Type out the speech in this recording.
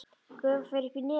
Gufan fer upp í nefið á mér.